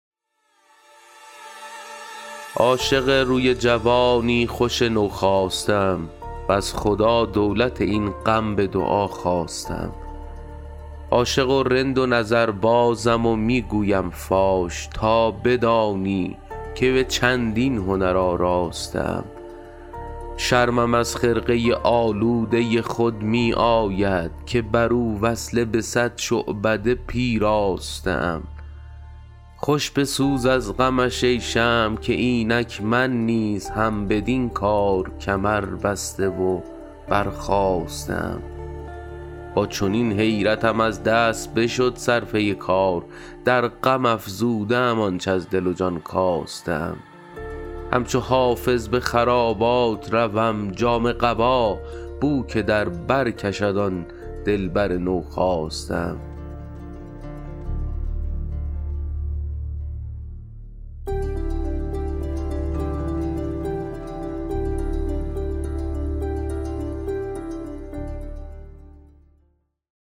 عاشق روی جوانی خوش نوخاسته ام وز خدا دولت این غم به دعا خواسته ام عاشق و رند و نظربازم و می گویم فاش تا بدانی که به چندین هنر آراسته ام شرمم از خرقه آلوده خود می آید که بر او وصله به صد شعبده پیراسته ام خوش بسوز از غمش ای شمع که اینک من نیز هم بدین کار کمربسته و برخاسته ام با چنین حیرتم از دست بشد صرفه کار در غم افزوده ام آنچ از دل و جان کاسته ام همچو حافظ به خرابات روم جامه قبا بو که در بر کشد آن دلبر نوخاسته ام